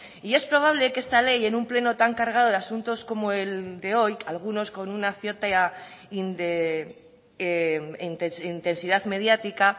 y es probable que esta ley en un pleno tan cargado de asuntos como el de hoy algunos con una cierta intensidad mediática